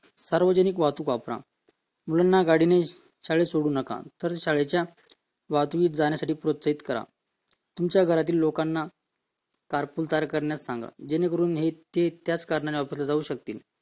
सार्वजनिक वाहतूक वापरा मुलांना गाडीने शाळेत सोडू नका तर शाळेच्या वाहतुकीत जाण्यासाठी प्रोत्साहित करा तुमच्या घरातल्या लोकांना करायला सांगा जेणेकरून हे त्याच काढण्यासाठी वापरले जातील